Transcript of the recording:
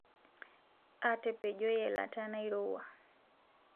Atepejoyie lata nairewua